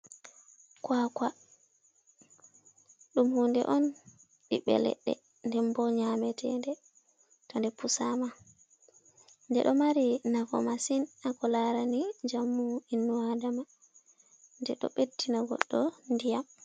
Kwa kwa ɗum hunde on ɓiɓɓe leɗɗe, nden bo nyametede, to nde pusama nde ɗo mari nafu masin hako larani njamu ɓinnu adama ɗeɗo ɓeɗɗina goɗɗo ndiyam.